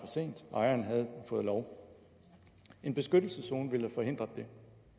sent ejeren havde fået lov en beskyttelseszone ville forhindre det